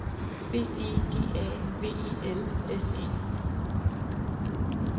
B E G A V E L S E